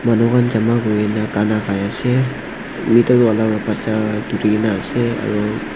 manu han jama kurina gana gaiase middle wala wa bacha dhurikae naase aru.